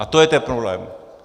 A to je ten problém.